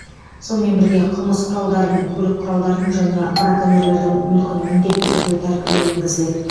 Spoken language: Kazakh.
сонымен бірге қылмыс құралдарын көлік құралдарын және браконьерлердің мүлкін міндетті түрде тәркілеу енгізіледі